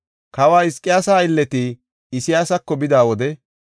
Kawa Hizqiyaasa aylleti Isayaasako bida wode,